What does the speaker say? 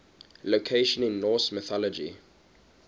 locations in norse mythology